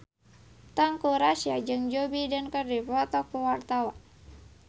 Teuku Rassya jeung Joe Biden keur dipoto ku wartawan